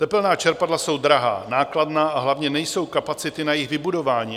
Tepelná čerpadla jsou drahá, nákladná a hlavně nejsou kapacity na jejich vybudování.